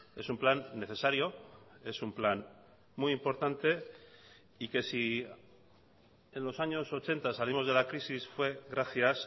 es un plan necesario es un plan muy importante y que si en los años ochenta salimos de la crisis fue gracias